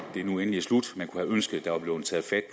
det nu endelig er slut man kunne have ønsket at der var blevet taget fat